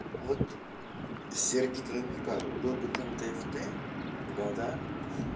вот сердито намекаю был бы там дфт года